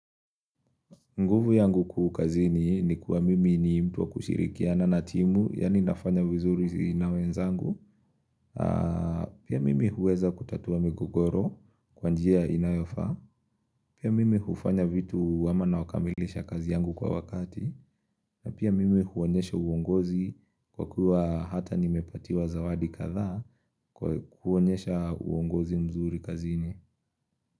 Nguvu yangu kuu kazini ni kuwa mimi ni mtu wa kushirikiana na timu, yani nafanya vizuri na wenzangu. Pia mimi huweza kutatua migogoro kwanjia inayofaa. Pia mimi hufanya vitu ama na wakamilisha kazi yangu kwa wakati. Na pia mimi huonyesha uongozi kwa kuwa hata nimepatiwa zawadi kadhaa kwa kuonyesha uongozi mzuri kazini.